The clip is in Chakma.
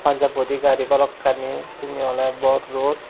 paanjab bodi gari balokkani syeni oley bor road.